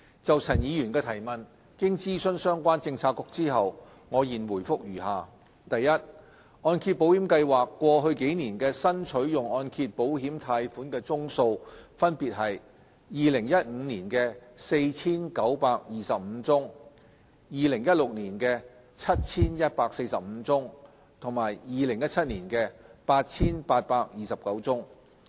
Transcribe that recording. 就陳議員的質詢，經諮詢相關政策局後，我現回覆如下：一按保計劃過去幾年的新取用按揭保險貸款宗數分別為2015年的 4,925 宗、2016年的 7,145 宗和2017年的 8,829 宗。